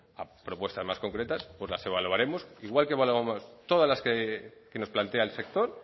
a propuestas más concretas pues las evaluaremos igual que evaluamos todas las que nos plantea el sector